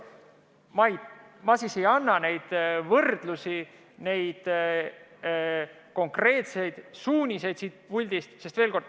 Ma siis ei võrdle ega anna konkreetseid suuniseid siit puldist.